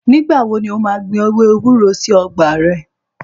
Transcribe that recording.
Ní gbà wò lò mà gbín èwé èwúrò sí ọ̀gbà rẹ?